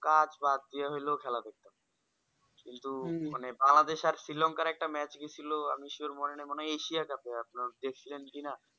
কাজ বাদ দিয়া হলেও খেলা দেখতাম কিন্তু মানে বাংলাদেশে আর শ্রীলঙ্কা একটা match গেছিলো আমি sure মনে নাই মনেহয় এশিয়া cup এ আপনার গেছিলেন কি না